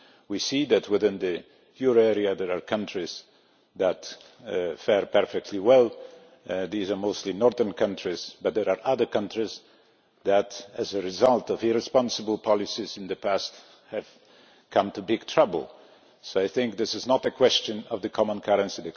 We see that within the euro area there are countries that fare perfectly well these are mostly northern countries yet there are other countries that, as a result of irresponsible policies in the past, have got into big trouble, so this is not a question of the common currency.